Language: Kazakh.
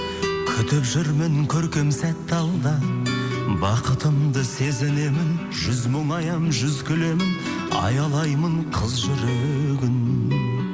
күтіп жүрмін көркем сәтті алда бақытымды сезінемін жүз мұңаямын жүз күлемін аялаймын қыз жүрегін